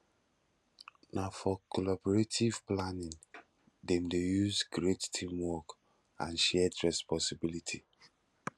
na for collaborative planning dem dey use create teamwork and shared responsibility